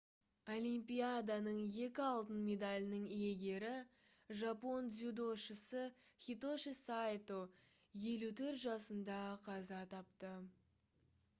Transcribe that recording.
олимпияданың екі алтын медалінің иегері жапон дзюдошысы хитоши сайто 54 жасында қаза тапты